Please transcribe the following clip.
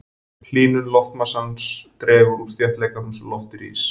Hlýnun loftmassans dregur úr þéttleikanum svo loftið rís.